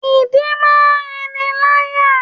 Ìdin máa ń rinniláyà.